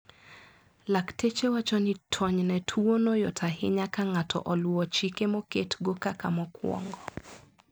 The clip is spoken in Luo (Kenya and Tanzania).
Laktache wacho ni tonyne tuono yot ahinya ka ng`ato oluwo chike moket go kaka mokwongo